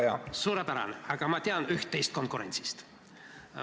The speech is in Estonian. Ja ma tean üht-teist konkurentsist.